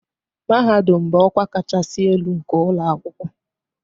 Mahadum bụ ọkwa kachasị elu nke ụlọ akwụkwọ